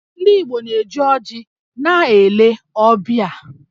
Ndị Igbo na-eji ọjị na-ele ọbịa